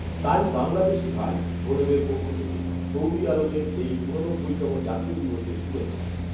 তাই বাংলাদেশী ভাই, বোনদের পক্ষ থেকে সৌদি আরবের এই ঊননব্বইতম জাতীয় দিবসে শুভেচ্ছা